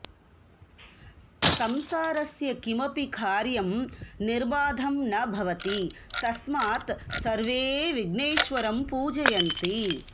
संसारस्य किमपि कार्यं निर्बाधं न भवति तस्मात् सर्वे विघ्नेश्वरं पूजयन्ति